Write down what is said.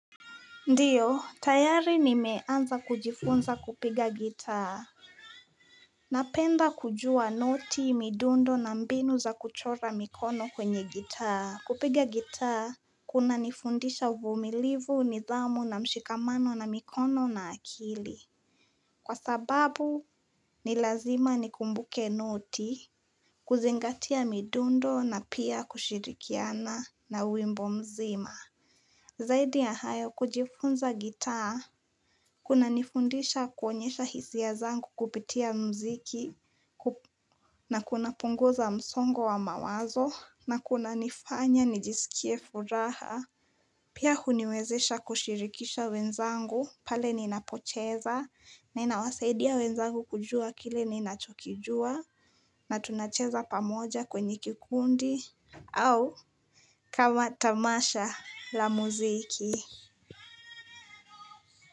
Ndiyo, tayari nimeanza kujifunza kupiga gitaa. Napenda kujua noti, midundo na mbinu za kuchora mikono kwenye gitaa. Kupiga gitaa, kunanifundisha uvumilivu nidhamu na mshikamano na mikono na akili. Kwa sababu, ni lazima ni kumbuke noti, kuzingatia midundo na pia kushirikiana na wimbo mzima. Zaidi ya hayo kujifunza gitaa. Kunanifundisha kuonyesha hisia zangu kupitia mziki. Na kunapunguza msongo wa mawazo. Na kuna nifanya nijisikie furaha. Pia huniwezesha kushirikisha wenzangu pale ninapocheza. Na inawasaidia wenzangu kujua kile ninachokijua. Na tunacheza pamoja kwenye kikundi. Au kama tamasha la mziki.